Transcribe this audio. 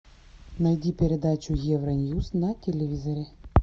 найди передачу евроньюс на телевизоре